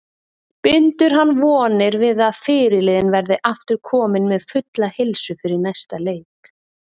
Bindur hann vonir við að fyrirliðinn verði aftur kominn með fulla heilsu fyrir næsta leik.